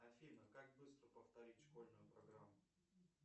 афина как быстро повторить школьную программу